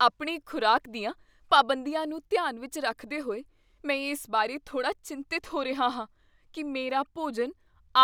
ਆਪਣੀ ਖ਼ੁਰਾਕ ਦੀਆਂ ਪਾਬੰਦੀਆਂ ਨੂੰ ਧਿਆਨ ਵਿੱਚ ਰੱਖਦੇ ਹੋਏ, ਮੈਂ ਇਸ ਬਾਰੇ ਥੋੜਾ ਚਿੰਤਿਤ ਹੋ ਰਿਹਾ ਹਾਂ ਕੀ ਮੇਰਾ ਭੋਜਨ